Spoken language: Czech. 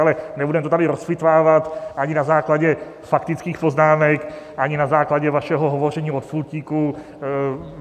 Ale nebudeme to tady rozpitvávat ani na základě faktických poznámek, ani na základě vašeho hovoření od pultíku.